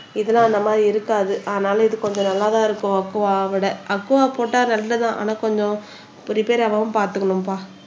இதுன்னா அந்த மாதிரி இருக்காது அதனால இது கொஞ்சம் நல்லாத்தான் இருக்கும் அக்குவாவை விட அக்குவா போட்டா நல்லது தான் ஆனா கொஞ்சம் ரிப்பேர் ஆகாம பாத்துக்கணும்பா